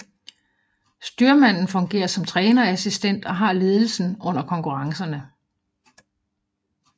Styrmanden fungerer som trænerassistent og har ledelsen under konkurrencerne